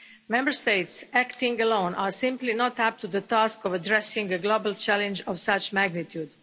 Member States acting alone are simply not up to the task of addressing a global challenge of such magnitude.